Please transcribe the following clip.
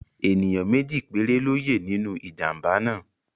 Ẹ̀níyàn méjì péré ló yẹ́ nínú ìjàmbá náà